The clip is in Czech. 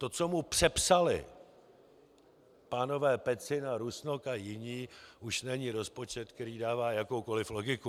To, co mu přepsali pánové Pecina, Rusnok a jiní, už není rozpočet, který dává jakoukoliv logiku.